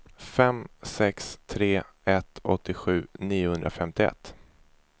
fem sex tre ett åttiosju niohundrafemtioett